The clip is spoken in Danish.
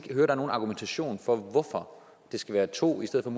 er nogen argumentation for hvorfor det skal være to i stedet for